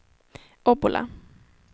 Obbola